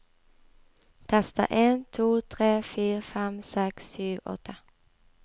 Tester en to tre fire fem seks sju åtte